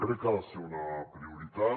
crec que ha de ser una prioritat